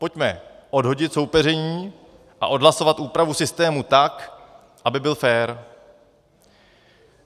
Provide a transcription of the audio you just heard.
Pojďme odhodit soupeření a odhlasovat úpravu systému tak, aby byl fér.